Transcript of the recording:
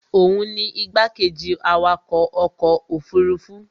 òun ni igbákejì awakọ̀ ọkọ̀ òfurufú